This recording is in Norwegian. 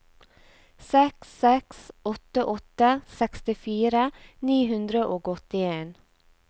seks seks åtte åtte sekstifire ni hundre og åttien